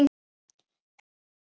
Þvílík hetja.